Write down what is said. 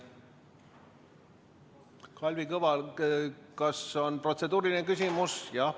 Kas Kalvi Kõval on protseduuriline küsimus?